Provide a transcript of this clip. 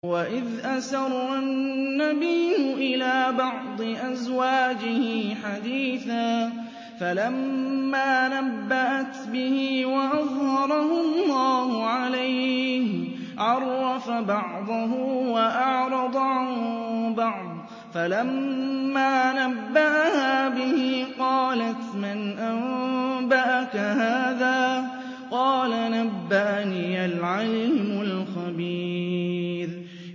وَإِذْ أَسَرَّ النَّبِيُّ إِلَىٰ بَعْضِ أَزْوَاجِهِ حَدِيثًا فَلَمَّا نَبَّأَتْ بِهِ وَأَظْهَرَهُ اللَّهُ عَلَيْهِ عَرَّفَ بَعْضَهُ وَأَعْرَضَ عَن بَعْضٍ ۖ فَلَمَّا نَبَّأَهَا بِهِ قَالَتْ مَنْ أَنبَأَكَ هَٰذَا ۖ قَالَ نَبَّأَنِيَ الْعَلِيمُ الْخَبِيرُ